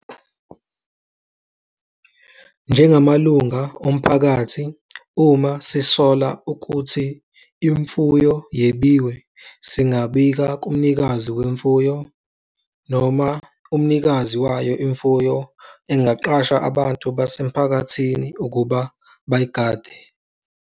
Njengamalunga omphakathi, uma sisola ukuthi imfuyo yebiwe singabika kumnikazi wemfuyo noma umnikazi wayo imfuyo engaqasha abantu basemphakathini ukuba bayigade.